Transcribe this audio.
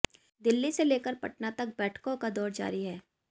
दिल्ली से लेकर पटना तक बैठकों का दौर जारी है